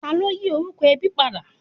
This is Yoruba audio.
Ta ló yí orúkọ ẹbí padà?